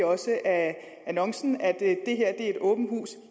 af annoncen at det her er et åbent hus